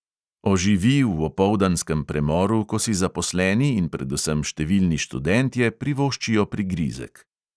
Oživi v opoldanskem premoru, ko si zaposleni in predvsem številni študentje privoščijo prigrizek.